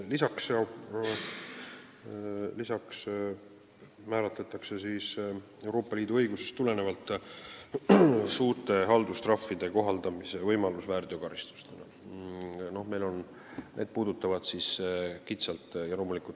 Peale selle tekib Euroopa Liidu õigusest tulenevalt võimalus kohaldada suuri haldustrahve väärteokaristusena.